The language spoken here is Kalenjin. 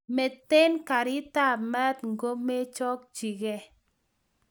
Metin garitab mat ngomechokchige